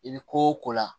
I bɛ ko o ko la